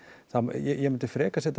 ég myndi frekar setja